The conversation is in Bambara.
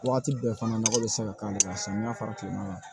Waati bɛɛ fana nakɔ bɛ se ka k'ale la samiya fara tilema